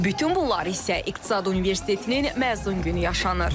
Bütün bunlar isə İqtisad Universitetinin məzun günü yaşanır.